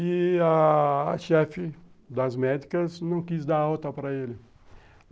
E a chefe das médicas não quis dar alta para ele.